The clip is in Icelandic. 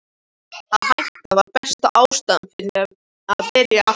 Að hætta var besta ástæðan fyrir því að byrja aftur.